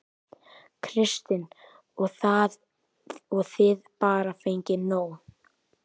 Kristinn: Og þið bara fengið nóg?